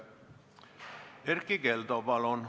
Erkki Keldo, palun!